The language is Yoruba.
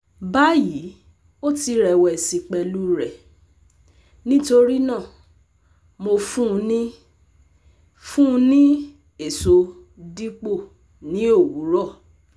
Bayi o ti rẹwẹsi pẹlu rẹ, nitorinaa Mo fun u ni fun u ni eso dipo ni owurọ